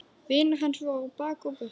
Vinir hans voru á bak og burt.